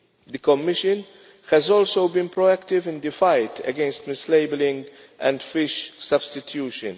The Commission has also been proactive in the fight against mislabelling and fish substitution.